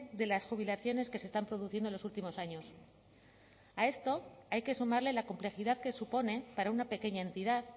de las jubilaciones que se están produciendo en los últimos años a esto hay que sumarle la complejidad que supone para una pequeña entidad